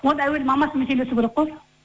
оны әуелі мамасымен сөйлесу керек қой